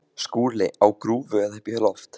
SKÚLI: Á grúfu eða upp í loft?